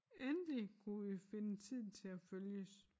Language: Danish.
Endelig kunne vi finde tid til at følges